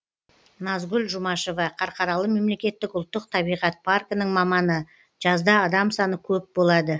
назгүл жұмашева қарқаралы мемлекеттік ұлттық табиғат паркінің маманы жазда адам саны көп болады